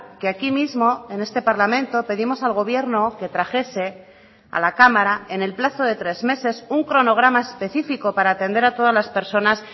que aquí mismo en este parlamento pedimos al gobierno que trajese a la cámara en el plazo de tres meses un cronograma específico para atender a todas las personas